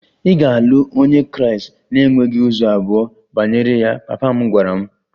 Ị ga-alụ onye Kraịst na e nweghị ụzọ abụọ banyere ya! Papa m gwara m.